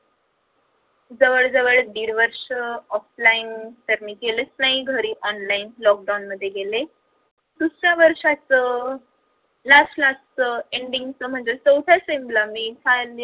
जवळ जवळ दीड वर्ष offline तर मी केलेच नाही घरी online lockdown मध्ये गेले दुसऱ्या वर्षाचं last last च ending च म्हणजे चौथ्या sem ला मी